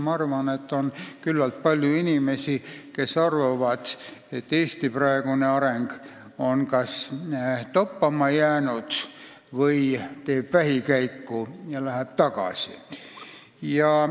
Ma arvan, et on küllalt palju inimesi, kes arvavad, et Eesti praegune areng on kas toppama jäänud või Eesti teeb vähikäiku ja läheb tagasi.